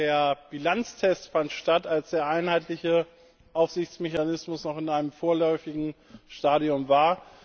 Der Bilanztest fand statt, als der einheitliche Aufsichtsmechanismus noch in einem vorläufigen Stadium war.